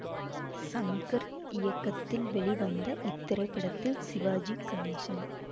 சங்கர் இயக்கத்தில் வெளிவந்த இத்திரைப்படத்தில் சிவாஜி கணேசன்